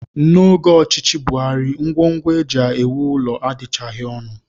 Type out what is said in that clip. N'oge ọchịchị Buhari, ngwongwo e ji ewu ụlọ adịchaghị ọnụ